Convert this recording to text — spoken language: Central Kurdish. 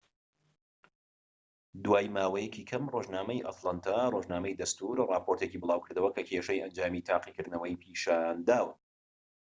دوای ماوەیەکی کەم ڕۆژنامەی ئەتلانتا ڕۆژنامەی دەستوور ڕاپۆرتێکی بڵاوکردەوە کە کێشەی ئەنجامەکانی تاقیکردنەوەی پیشان داوە